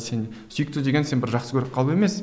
сен сүйікті деген сен бір жақсы көріп қалу емес